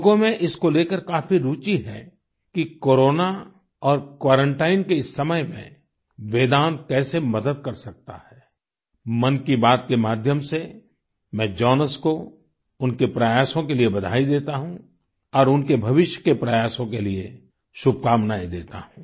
लोगों में इसको लेकर काफी रुचि है कि कोरोना और क्वारंटाइन के इस समय में वेदांत कैसे मदद कर सकता है मन की बात के माध्यम से मैं जॉनस को उनके प्रयासों के लिए बधाई देता हूं और उनके भविष्य के प्रयासों के लिए शुभकामनाएं देता हूं